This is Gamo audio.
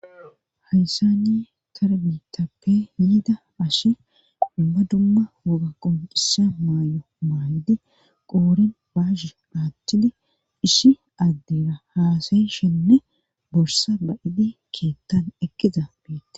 Haysani tarbitappe yiidaashe dumma dumma woga qomcisa maay'o maaydi qooren baashe naathidiishi addeera haasayi shenne borsa ba'idi keettan eqqiza beette.